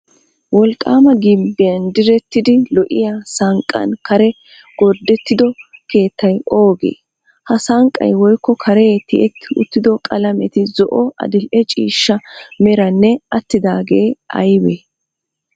Wolqqaama gimbbiyan direttidi lo"iya sanqqan karee gordettido keettay oogee? Ha sanqqay woykko karee tiyetti uttido qalameti zo"o, adil"e ciishsha meranne attidaagee aybee?